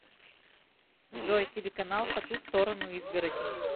джой телеканал по ту сторону изгороди